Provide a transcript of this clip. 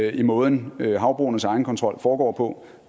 i måden havbrugenes egenkontrol foregår på